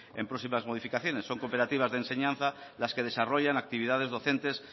en próximas modificaciones son cooperativas de enseñanza las que desarrollan actividades docentes